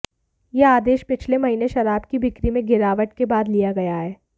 यह आदेश पिछले महीने शराब की बिक्री में गिरावट के बाद लिया गया है